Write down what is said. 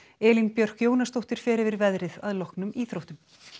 Elín Björk Jónasdóttir fer yfir veðrið að loknum íþróttum